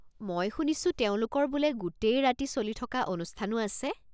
মই শুনিছোঁ তেওঁলোকৰ বোলে গোটেই ৰাতি চলি থকা অনুষ্ঠানো আছে?